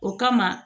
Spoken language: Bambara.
O kama